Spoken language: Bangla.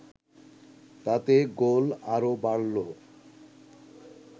তাতে গোল আরও বাড়ল